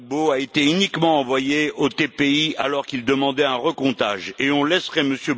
Gbagbo a été uniquement envoyé au TPI alors qu'il demandait un recomptage, et on laisserait M.